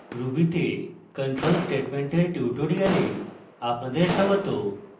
ruby তে control statement control statements এর tutorial আপনাদের স্বাগত